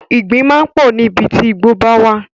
Ìgbín máa ń pọ̀ níbi tí ìgbo bá wà.